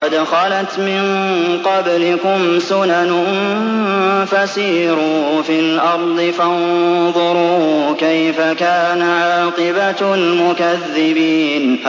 قَدْ خَلَتْ مِن قَبْلِكُمْ سُنَنٌ فَسِيرُوا فِي الْأَرْضِ فَانظُرُوا كَيْفَ كَانَ عَاقِبَةُ الْمُكَذِّبِينَ